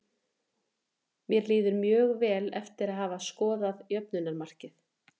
Mér líður mjög vel eftir að hafa skorað jöfnunarmarkið.